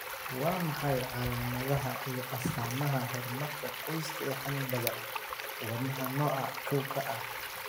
Waa maxay calaamadaha iyo astaamaha Horumarka qoyska ee xannibaadda wadnaha nooca koow A?